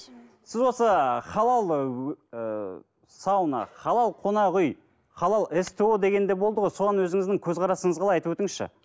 сіз осы халал ыыы сауна халал қонақ үй халал сто деген де болды ғой соған өзіңіздің көзқарасыңыз қалай айтып өтіңізші